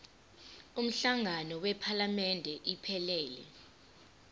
umhlangano wephalamende iphelele